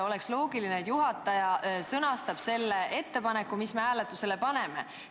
Oleks loogiline, et juhataja sõnastab ettepaneku, mis hääletusele pannakse.